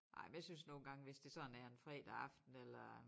Ej men jeg synes nogle gange hvis det sådan er en fredag aften eller